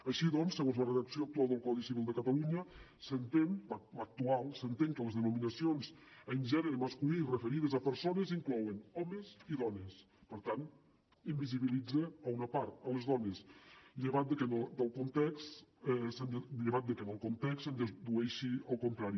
així doncs segons la redacció actual del codi civil de catalunya l’actual s’entén que les denominacions en gènere masculí referides a persones inclouen homes i dones per tant n’invisibilitza una part les dones llevat de que del context se’n dedueixi el contrari